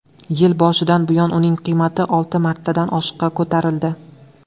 Yil boshidan buyon uning qiymati olti martadan oshiqqa ko‘tarildi.